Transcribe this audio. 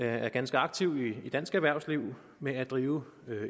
er ganske aktiv i dansk erhvervsliv med at drive